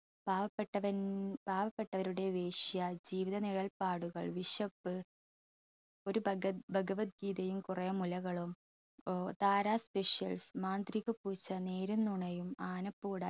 പാവപ്പെട്ടവൻ പാവപ്പെട്ടവരുടെ വേശ്യ, ജീവിതനിഴൽ പാടുകൾ, വിശപ്പ്, ഒരു ഭഗത് ഭഗവത് ഗീതയും കുറെ മുലകളും ഏർ താരാ specials മാന്ത്രികപ്പൂച്ച, നേരും നൊണയും, ആനപ്പൂട